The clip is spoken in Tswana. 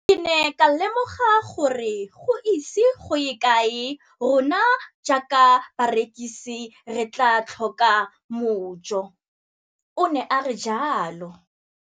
Ke ne ka lemoga gore go ise go ye kae rona jaaka barekise re tla tlhoka mojo, o ne a re jalo.